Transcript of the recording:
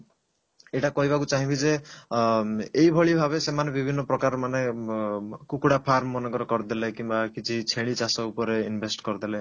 ଏଇଟା କହିବାକୁ ଚାହିଁବି ଯେ ଅ ଏଇଭଳି ଭାବେ ସେମାନେ ବିଭିନ୍ନ ପ୍ରକାର ମାନେ ମ କୁକୁଡା farm ମନେକର କରିଦେଲେ କିମ୍ବା କିଛି ଛେଳି ଚାଷ ଉପରେ invest କରିଦେଲେ